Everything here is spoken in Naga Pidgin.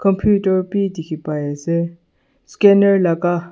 computer bi dikhi paiase scanner laka.